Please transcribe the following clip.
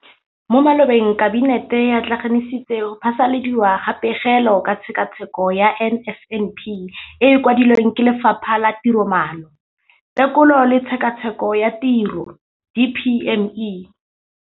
Mo malobeng Kabinete e atlenegisitse go phasaladiwa ga Pegelo ka Tshekatsheko ya NSNP e e kwadilweng ke Lefapha la Tiromaano, Tekolo le Tshekatsheko ya Tiro, DPME].